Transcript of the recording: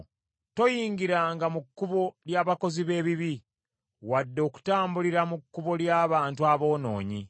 Toyingiranga mu kkubo ly’abakozi b’ebibi, wadde okutambulira mu kkubo ly’abantu aboonoonyi.